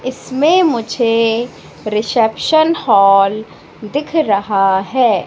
इसमें मुझे reception hall दिख रहा है।